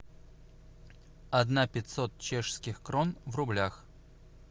одна пятьсот чешских крон в рублях